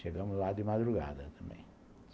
Chegamos lá de madrugada também.